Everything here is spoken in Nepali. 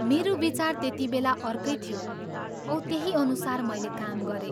मेरो विचार त्यति बेला अर्कै थियो औ त्यही अनुसार मैले काम गरें।